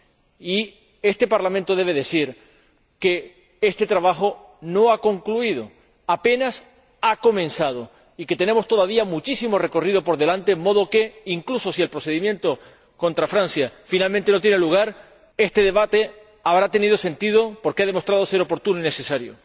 Y este Parlamento debe decir que este trabajo no ha concluido, apenas ha comenzado, y que tenemos todavía muchísimo recorrido por delante, de modo que, incluso si el procedimiento contra Francia finalmente no se incoa, este debate habrá tenido sentido porque ha demostrado ser oportuno y necesario.